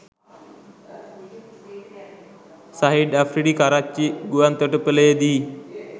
Shahid Afridi Karachi ගුවන්තොටුපලේදි